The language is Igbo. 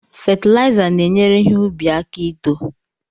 Fetilaiza na-enyere ihe ubi aka ito.